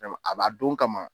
A b'a don kama.